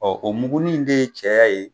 Ɔ o mugunin de ye cɛyɛ ya ye